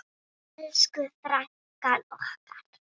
Elsku frænka okkar.